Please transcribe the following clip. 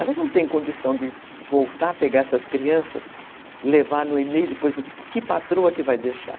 Elas não têm condição de voltar a pegar essas crianças, levar no e-mail e depois dizer que patroa que vai deixar.